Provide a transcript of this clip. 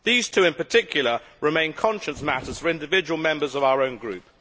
These two, in particular, remain conscience matters for individual members of our own group.